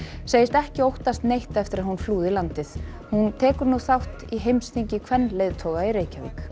segist ekki óttast neitt eftir að hún flúði landið hún tekur nú þátt í heimsþingi kvenleiðtoga í Reykjavík